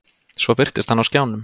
Svo birtist hann á skjánum.